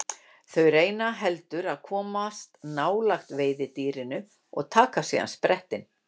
Þau reyna heldur að komast nálægt veiðidýrinu og taka síðan sprettinn.